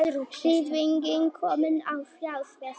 Hreyfing komin á fjárfesta